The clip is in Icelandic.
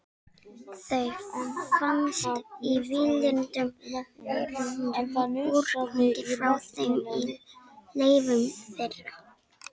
Þau finnast í lifandi verum, úrgangi frá þeim og leifum þeirra.